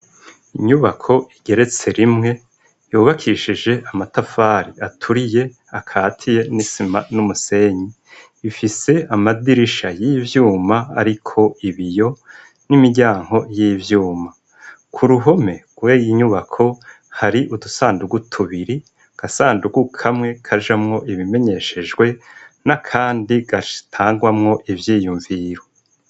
Inyubako igeretse rimwe yubakishije amatafari aturiye akatiye n'isima n’umusenyi, ifise amadirisha y'ivyuma ariko ibiyo n'imiryango y'ivyuma, ku ruhome rwiyo nyubako hari udusandugu tubiri agasandugu kamwe kajamwo ibimenyeshejwe n'akandi gatangwamwo ivyiyumviro.